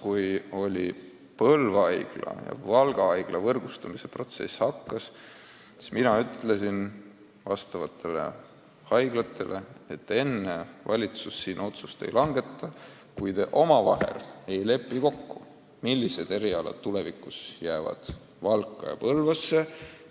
Kui Põlva ja Valga haigla võrgustumise protsess algas, siis ma ütlesin nendele haiglatele, et enne valitsus otsust ei langeta, kui nad pole omavahel kokku leppinud, millised erialad jäävad Valka ja Põlvasse,